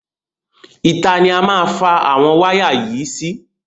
Ìta ni a má fa àwọn wáyà yìí sí.